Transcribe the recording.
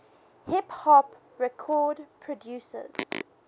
hip hop record producers